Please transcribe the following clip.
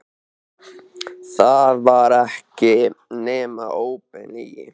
Það var ekki nema óbein lygi.